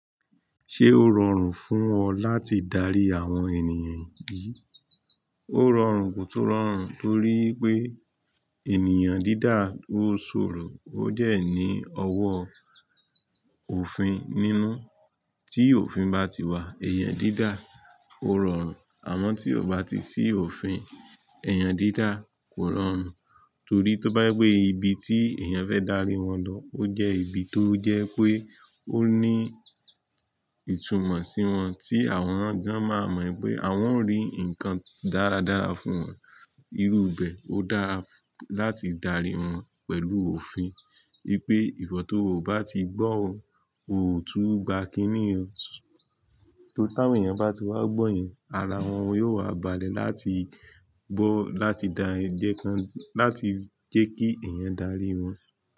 Ṣé ó rọrùn fún ọ láti darí àwọn ènìyàn yìí? Ó rọrùn kò tún rọrùn torí pé, ènìyàn dídá ó ṣòro, ó dẹ́ ní ọwọ́ òfin nínú. Tí òfin bá ti wà, èèyàn dídá ó rọrùn, àmọ́ tí ó bá ti sí òfin, èèyàn dídá kò rọrùn. Torí tó bá gbé ibi tí èèyàn fẹ́ darí wọn lọ, ó jẹ́ ibi tó jẹ́ pé ó ní ìtumọ̀ sí wọn tí àwọn gan máa mọ̀ pé àwọn ń rí nǹkan dáradára fún wọn. Irú ibẹ̀ ó dára láti darí wọn pẹ̀lú òfin. Ní pé ìwọ̀ tó ò bá ti gbọ́ ọ, o ò tún gba kíní o. Tó táwọn èèyàn bá ti wá gbọ́ yẹn, ara wọn yóò wá balẹ̀ láti gbọ́, láti dá ń jẹ́ kí èèyàn darí wọn.